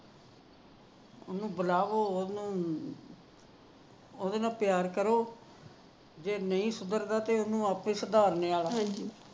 ਉਹਨੂੰ ਬੁਲਾਓ ਓਹਨੂੰ ਉਹਦੇ ਨਾਲ ਪਿਆਰ ਕਰੋ ਜੇ ਨਹੀ ਸੁਧਰ ਦਾ ਤਾਂ ਉਹਨੂੰ ਸੁਧਾਰਨੇ ਵਾਲਾ ਹੈਗਾ